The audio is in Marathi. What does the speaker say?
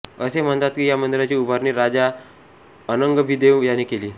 असे म्हणतात की या मंदिराची उभारणी राजा अनंगभीमदेव याने केली